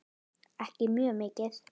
Ekki mjög mikið.